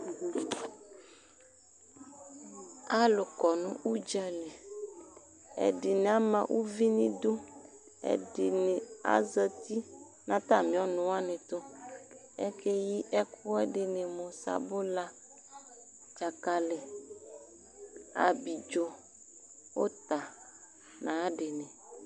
Alʋ kɔnʋ ʋdzali Ɛdini ama uvi n'idu, ɛdini azati n'atami ɔnʋwani tʋ, akeyi ɛkʋɛdini mʋ sabula, dzakali, abidzo, ʋta n'ayadini